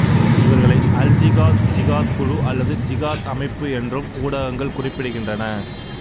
இவர்களை அல்ஜிகாத் ஜிகாத் குழு அல்லது ஜிகாத் அமைப்பு என்றும் ஊடகங்கள் குறிப்பிடுகின்றன